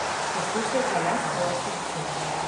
Poslušajte le svoje srce.